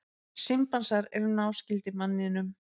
Simpansar eru náskyldir manninum.